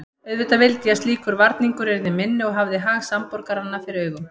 Auðvitað vildi ég að slíkur varningur yrði minni og hafði hag samborgaranna fyrir augum.